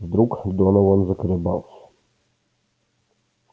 вдруг донован заколебался